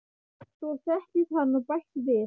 Svo settist hann og bætti við